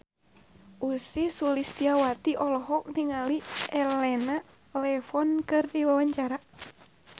Ussy Sulistyawati olohok ningali Elena Levon keur diwawancara